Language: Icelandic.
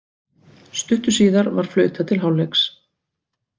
Stuttu síðar var flautað til hálfleiks.